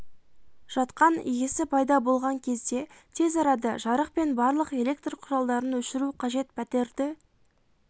жатқан иісі пайда болған кезде тез арада жарық пен барлық электр құралдарын өшіру қажет пәтерді